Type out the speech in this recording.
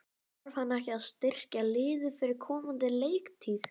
Þarf hann ekki að styrkja liðið fyrir komandi leiktíð?